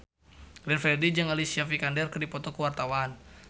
Glenn Fredly jeung Alicia Vikander keur dipoto ku wartawan